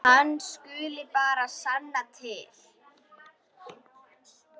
Hann skuli bara sanna til.